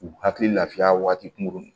U hakili lafiya waati kunkurunin